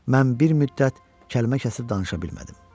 Mən bir müddət kəlmə kəsib danışa bilmədim.